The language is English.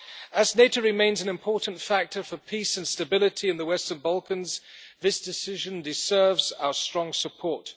As NATO remains an important factor for peace and stability in the Western Balkans, this decision deserves our strong support.